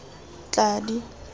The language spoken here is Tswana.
tladi